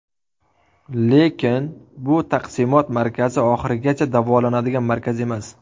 Lekin bu taqsimot markazi oxirigacha davolanadigan markaz emas.